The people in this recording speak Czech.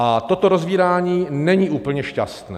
A toto rozvírání není úplně šťastné.